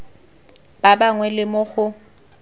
ba bangwe le mo go